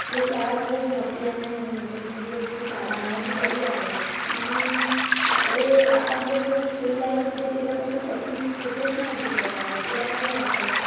ते शाळा खूप मोठी आहे. आणि english medium ची शाळा आहे अन बरी आहे. आणि आपले आपण जसं school life मध्ये तसं कधीच कुठेच नाही भेटत आहे, तुला काय वाटतंय?